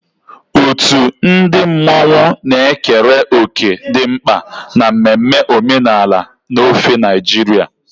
Otu ndị mmanwụ na-ekere òkè dị mkpa na mmemme omenala n'ofe Naịjirịa.